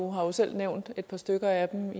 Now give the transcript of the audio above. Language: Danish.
har jo selv nævnt et par stykker af dem